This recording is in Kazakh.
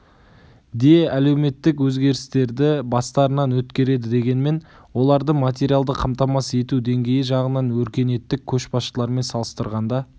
де әлеуметтік өзгерістерді бастарынан өткереді дегенмен оларды материалды қамтамасыз ету деңгейі жағынан өркениеттік көшбасшылармен салыстырғанда